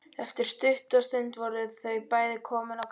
Eftir stutta stund voru þau bæði komin á kreik.